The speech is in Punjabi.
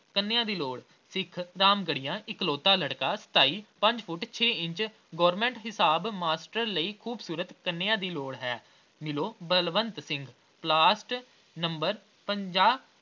ਕੰਨੀਆ ਦੀ ਲੋੜ, ਸਿੱਖ ਰਾਮਗੜੀਆਂ ਇੱਕਲੌਤਾਂ ਲੜਕਾ ਸਤਾਈ ਪੰਜ ਫੁੱਟ ਛੇ ਇੰਚ, government ਹਿਸਾਬ ਮਾਸਟਰ ਲਈ ਖੂਬਸੂਰਤ ਕੰਨੀਆ ਦੀ ਲੋੜ ਹੈ, ਮਿਲੋ ਬਲਵੰਤ ਸਿੰਘ ਨੰਬਰ ਪੰਜਾਹ।